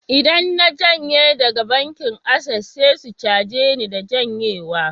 Idan na janye daga bankin Access, sai su caje ni na janyewa